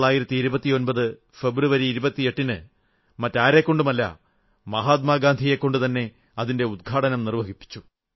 1929 ഫെബ്രുവരി 28ന് മറ്റാരെക്കൊണ്ടുമല്ല മഹാത്മാഗാന്ധിയെക്കൊണ്ടുതന്നെ അതിന്റെ ഉദ്ഘാടനം നിർവ്വഹിപ്പിച്ചു